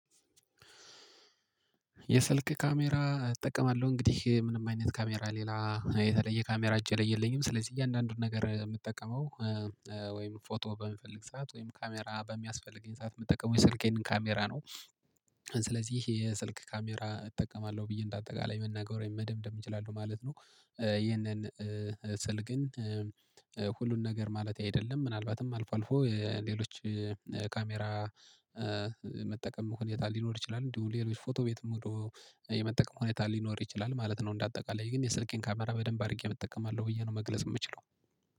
የስልክ ካሜራ እጠቀማለሁ። እንግዲህ ምንም አይነት ካሜራ ሌላ የተለየ ካሜራ እጄ ላይ የለኝም። ስለዚህ እያንዳንዱን ነገር የምጠቀመው ወይም ፎቶ በምፈልግ ሰዓት ወይም ካሜራ በሚያስፈልገኝ ሰዓት የምጠቀመው የስልኬን ካሜራ ነው። ስለዚህ የስልክ ካሜራ እጠቀማለሁ ብዬ እንደ አጠቃላይ መናገር ወይም መደምደም እችላለሁ ማለት ነው። ይህንን ስል ግን ሁሉን ነገር ማለቴ አይደለም። ምናልባትም አልፎ አልፎ የሌሎች ካሜራ መጠቀም ሁኔታ ሊኖር ይችላል። እንዲሁም ሌሎች ፎቶ ቤትም ሄዶ የመጠቀም ሁኔታ ሊኖር ይችላል ማለት ነው እንደ አጠቃላይ። ግን የስልኬን ካሜራ በደንብ አድርጌ እጠቀማለሁ ብዬ ነው መግለጽ የምችለው።